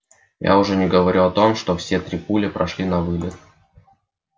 я уже не говорю о том что все три пули прошли навылет